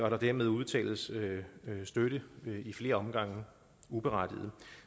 at der dermed uddeles støtte i flere omgange uberettiget